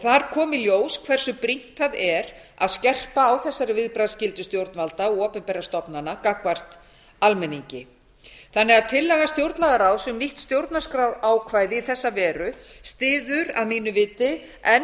þar kom í ljós hversu brýnt það er að skerpa á þessari viðbragðsskyldu stjórnvalda og opinberra stofnana gagnvart almenningi þannig að tillaga stjórnlagaráðs um nýtt stjórnarskrárákvæði í þessa veru styður að mínu viti enn